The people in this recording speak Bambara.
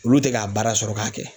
Olu tɛ k'a baara sɔrɔ k'a kɛ.